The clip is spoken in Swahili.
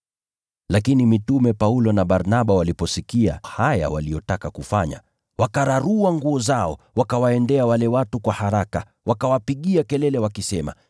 Lakini mitume Paulo na Barnaba waliposikia haya, wakararua nguo zao, wakawaendea wale watu kwa haraka, wakawapigia kelele, wakisema,